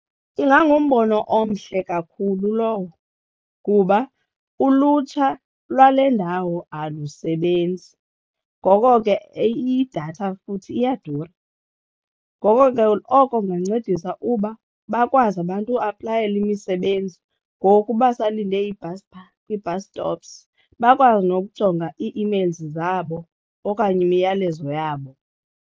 Ingangumbono omhle kakhulu lowo kuba ulutsha lwale ndawo alusebenzi. Ngoko ke idatha futhi iyadura. Ngoko ke oko kungancedisa uba bakwazi abantu ukuaplayela imisebenzi ngoku uba usalinde ibhasi phaa kwii-bus stops bakwazi nokujonga ii-emails zabo okanye imiyalezo yabo.